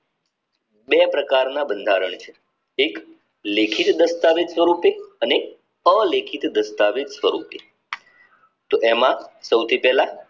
બે પ્રકારના બંધારણ છે એક લેખિત દસ્તાવેજ સ્વરૂપે અને અલેખિત દસ્તાવેજ સ્વરૂપે એવામાં સૌથી પેલા